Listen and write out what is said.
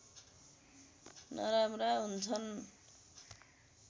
नराम्रा हुन्छन्